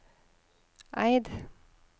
Eid